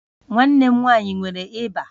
Nwanne m nwanyị nwere ịba